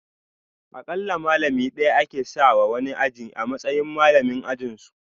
Akalla malami daya ake sanya wa wani aji a matsayin malamin ajinsu